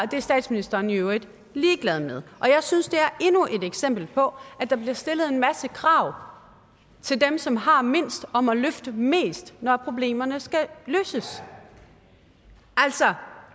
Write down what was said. det er statsministeren i øvrigt ligeglad med jeg synes det er endnu et eksempel på at der bliver stillet en masse krav til dem som har mindst og må løfte mest når problemerne skal løses altså